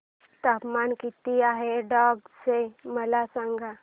तापमान किती आहे डांग चे मला सांगा